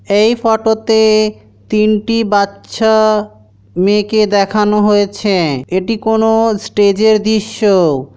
এই ফটোতে তিনটি বাচ্চা মেয়েকে দেখানো হয়েছে এটি কোন স্টেজ এর দৃশ্য।